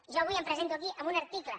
jo avui em presento aquí amb un article